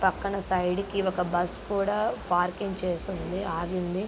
పక్కన ఒక సైడ్ కి ఒక బస్సు కూడా పార్కింగ్ చేసి ఉంది.ఆగింది.